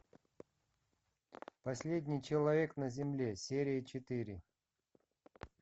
последний человек на земле серия четыре